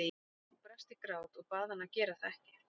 Ég brast í grát og bað hann að gera það ekki.